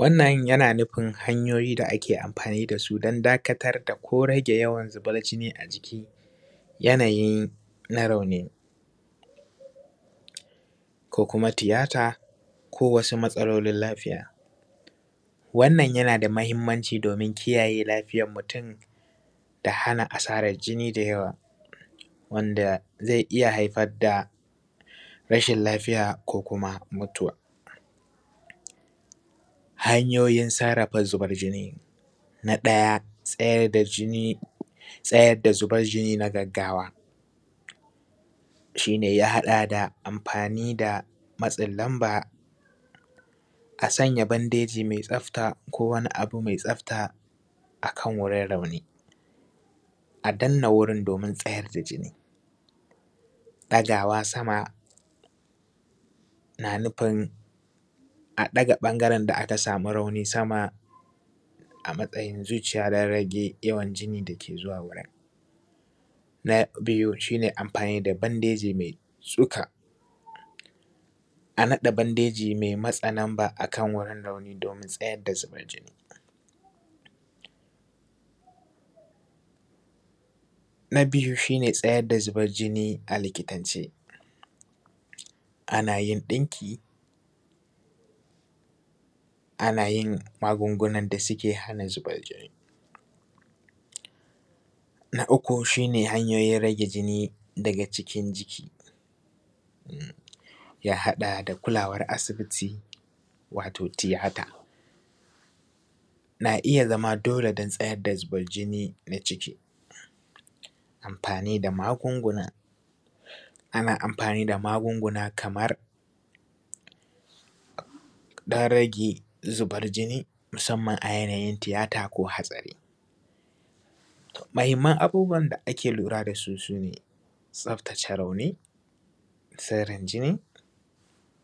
Wannan yana nufin hanyoyi da ake amfani da su dan dakatar da ko rage yawan zubar jini a jiki a yanayin na rauni ko kuma tiyata ko wasu matsalolin lafiya, wannan yanada mahimmanci domin kiyaye lafiyar muttum da hana asarar jini da yawa wanda zai iya haifar da rashin lafiya ko kuma mutuwa. Hanyoyin sarrrafa zubar jini na ɗaya tsayar da jini, tsayar da zubar jini na gaggawa shi ne ya haɗa da amfani da matsin lamba, a sanya bandeji mai tsafta ko wani abu mai tsafta akan wurin rauni, a danna wurin domin tsayar da jini, ɗagawa sama na nufin a ɗaga ɓangaren da aka samu rauni sama a matsayin zuciya dan rage yawan jinin da ke zuwa wurin. Na biyu shi ne amfani da bandeji mai tsuka a naɗe bandeji mai matse namba akan wurin rauni domin tsayar da zubar jini, na biyu shi ne tsayar da zubar jini a likitance ana yin ɗinki, ana yin magungunan da suke hana zuban jini, na uku shi ne hanyoyin rage jini daga cikin jiki ya haɗa da kulawar asibiti wato tiyata na iya zama dole dan tsayar da zubar jini na jiki, amfani da magunguna, ana amfani da magunguna kamar dan rage zuban jini musamman a yanayin tiyata ko hatsari. Mahimman abubuwan da ake lura da su, su ne tsaftace rauni, sirrin jini,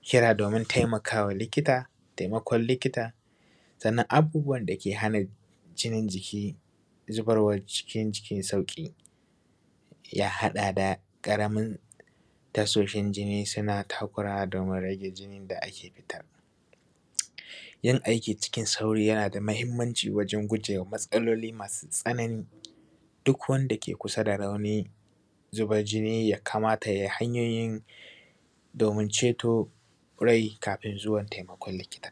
kira domin taimakawa likita, taimakon likita, sannan abubuwan dake hana jinin jiki zubarwar jinin jiki sauƙi ya haɗa da ƙaramin tashoshin jini suna takurawa domin rage jinin da ake yi yin aiki cikin sauri, yana da mahimmanci wajen gujewa matsaloli masu tsanani duk wanda ke kusa da rauni zubar jini ya kamata ya yi hanyoyin domin ceto rai kafin zuwan taimakon likita.